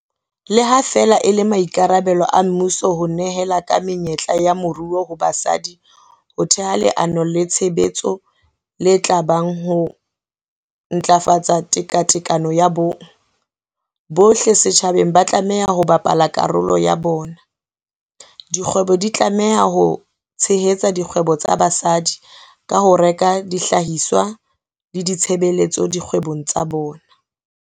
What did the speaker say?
Le ha feela e le maikarabelo a mmuso ho nehela ka menyetla ya moruo ho basadi ho theha leano le tshebetso le tla bang ho ho ntlafatsa tekatekano ya bong. Bohle setjhabeng ba tlameha ho bapala karolo ya bona. Dikgwebo di tlameha ho tshehetsa dikgwebo tsa basadi ka ho reka dihlahiswa le ditshebeletso dikgwebong tsa bona.